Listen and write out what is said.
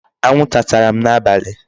Anwụ nta tara m n'abalị.